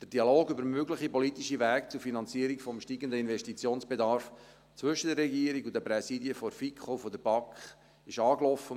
Der Dialog über mögliche politische Wege zur Finanzierung des steigenden Investitionsbedarfs zwischen der Regierung und den Präsidien der FiKo und der BaK ist angelaufen.